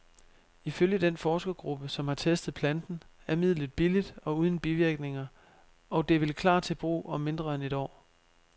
Ifølge den forskergruppe, som har testet planten, er midlet billigt og uden bivirkninger, og det vil klar til brug om mindre end et år.